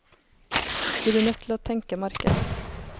De blir nødt til å tenke marked.